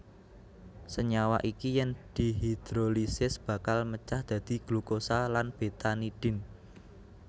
Senyawa iki yen dihidrolisis bakal mecah dadi glukosa lan betanidin